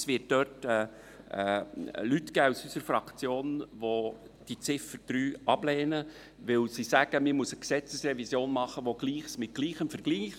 Es wird Leute aus unserer Fraktion geben, die diese ablehnen, weil sie sagen, man müsse eine Gesetzesrevision machen, die Gleiches mit Gleichem vergleicht: